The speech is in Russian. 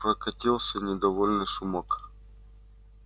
прокатился недовольный шумок